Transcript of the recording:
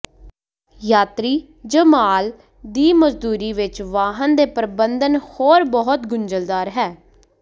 ਯਾਤਰੀ ਜ ਮਾਲ ਦੀ ਮੌਜੂਦਗੀ ਵਿੱਚ ਵਾਹਨ ਦੇ ਪਰਬੰਧਨ ਹੋਰ ਬਹੁਤ ਗੁੰਝਲਦਾਰ ਹੈ